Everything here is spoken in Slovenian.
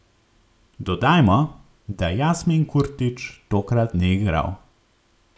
Dodajmo, da Jasmin Kurtić tokrat ni igral.